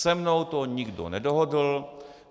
Se mnou to nikdo nedohodl.